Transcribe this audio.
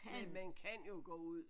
Men man kan jo gå ud